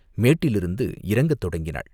மேட்டிலிருந்து இறங்கத் தொடங்கினாள்.